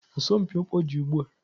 Asọmpi ọkpọ dị ugbu a.